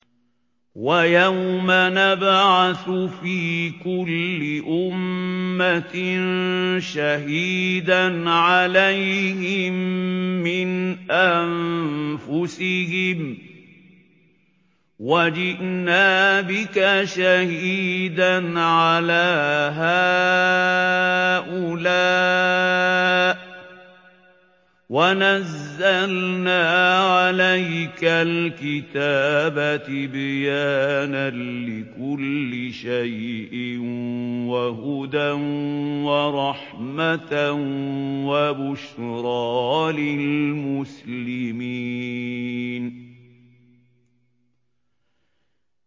وَيَوْمَ نَبْعَثُ فِي كُلِّ أُمَّةٍ شَهِيدًا عَلَيْهِم مِّنْ أَنفُسِهِمْ ۖ وَجِئْنَا بِكَ شَهِيدًا عَلَىٰ هَٰؤُلَاءِ ۚ وَنَزَّلْنَا عَلَيْكَ الْكِتَابَ تِبْيَانًا لِّكُلِّ شَيْءٍ وَهُدًى وَرَحْمَةً وَبُشْرَىٰ لِلْمُسْلِمِينَ